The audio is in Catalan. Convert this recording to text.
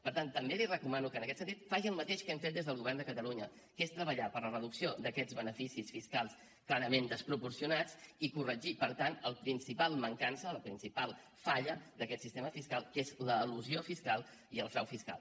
per tant també li recomano que en aquest sentit faci el mateix que hem fet des del govern de catalunya que és treballar per la reducció d’aquests beneficis fiscals clarament desproporcionats i corregir per tant la principal mancança la principal falla d’aquest sistema fiscal que són l’elusió fiscal i el frau fiscal